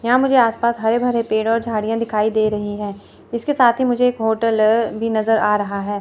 यहां मुझे आस पास हरे भरे पेड़ और झाड़ियां दिखाई दे रही है इसके साथ ही मुझे एक होटल है भी नजर आ रहा है।